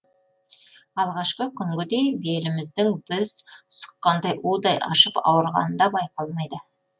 алғашқы күнгідей беліміздің біз сұққандай удай ашып ауырғаны да байқалмайды